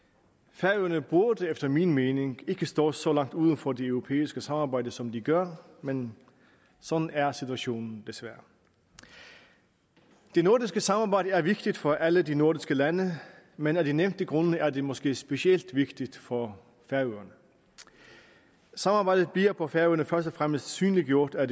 færøerne burde efter min mening ikke stå så langt uden for det europæiske samarbejde som de gør men sådan er situationen desværre det nordiske samarbejde er vigtigt for alle de nordiske lande men af de nævnte grunde er det måske specielt vigtigt for færøerne samarbejdet bliver på færøerne først og fremmest synliggjort af